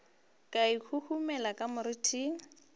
ka e huhumela ka moriting